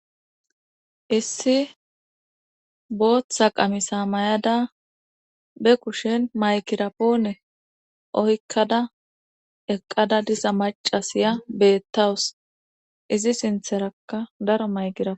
Issi booththa qamisa mayada be kushen maykira poone oykkada eqqada disa macasiya beettawus izi sintherakka daro mayqirap.